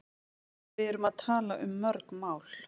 Við erum að tala um mörg mál.